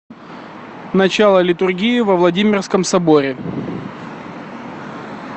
начало литургии во владимирском соборе